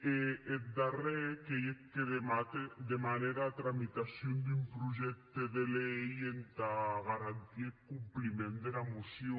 e eth darrèr qu’ei eth que demane era tramitacion d’un projècte de lei entà garantir eth compliment dera mocion